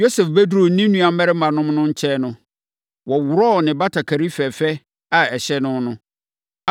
Yosef bɛduruu ne nuammarimanom no nkyɛn no, wɔworɔɔ ne batakari fɛfɛ a ɛhyɛ no no.